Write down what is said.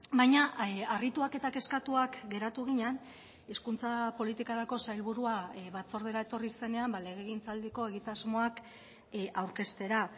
baina harrituak eta kezkatuak geratu ginen hizkuntza politikarako sailburua batzordera etorri zenean legegintzaldiko egitasmoak aurkeztera